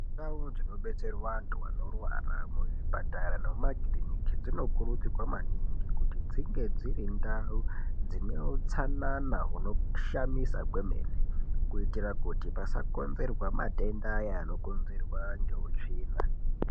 Ndau dzinodetserwa antu anorwara muzvipatara nemumakiriniki dzinokurudzirwa maningi kuti dzinge dzirindau dzine utsanana hunoshamisa kwemene, kuitire kuti pasakonzerwa matenda ayani anokonzerwa neutsvina.